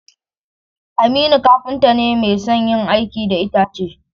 Aminu kafinta ne mai son yin aiki da itace.